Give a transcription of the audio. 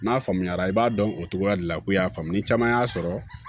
N'a faamuyara i b'a dɔn o cogoya de la ko y'a faamu ni caman y'a sɔrɔ